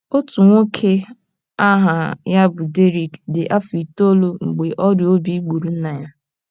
Otu nwoke aha ya bụ Derrick dị afọ itoolu mgbe ọrịa obi gburu nna ya.